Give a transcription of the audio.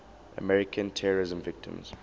american terrorism victims